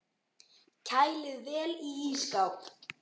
Kælið vel í ísskáp.